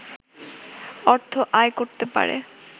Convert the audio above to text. অর্থ আয় করতে পারে